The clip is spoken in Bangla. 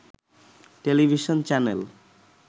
television channel